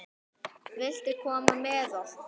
Viltu koma með okkur?